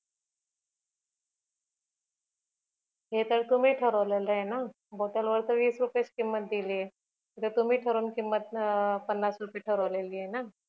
ते तर तुम्ही ठरवलेलय ना बॉटल वर तर वीस रुपयाच किंमत दिलीये ते तर तुम्ही ठरून किंमत पन्नास रुपय ठरवलेली ना